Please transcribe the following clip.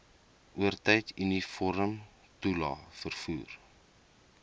oortyd uniformtoelae vervoer